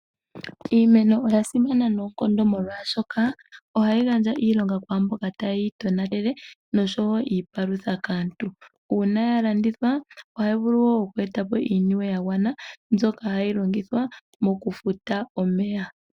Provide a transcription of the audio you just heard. Iimeno ya simana noonkondo oshoka oha yi gandja iilonga kwaamboka ta ye yitonatele nosho wo iipalutha kaantu. Uuna yalandithwa oha yi vulu wo oku eta po iiyemo yagwana mbyoka ha yi longithwa moku eta po omeya.